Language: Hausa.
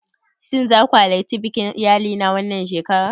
Shin za ku halarci bikin iyali na wannan shekara?